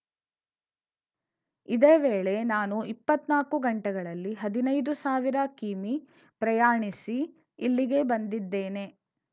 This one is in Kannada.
ಇದೇ ವೇಳೆ ನಾನು ಇಪ್ಪತ್ನಾಕು ಗಂಟೆಗಳಲ್ಲಿ ಹದಿನೈದು ಸಾವಿರ ಕಿಮೀ ಪ್ರಯಾಣಿಸಿ ಇಲ್ಲಿಗೆ ಬಂದಿದ್ದೇನೆ